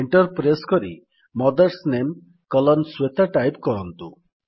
enter press କରି mothers ନାମେ column Shweta type କରନ୍ତୁ